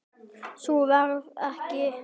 Sú ferð verður ekki farin.